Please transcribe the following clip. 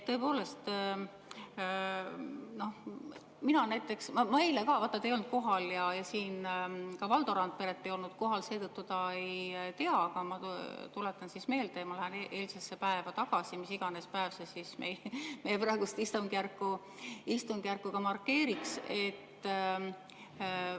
Tõepoolest, eile teid ei olnud kohal ja ka Valdo Randperet ei olnud kohal, seetõttu ta ei tea, aga ma tuletan meelde, ma lähen eilsesse päeva tagasi, mis iganes päeva see meie praeguses ka ei markeeriks.